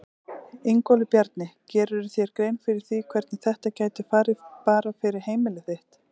Ingólfur Bjarni: Gerirðu þér grein fyrir því hvernig þetta gæti farið bara fyrir heimili þitt?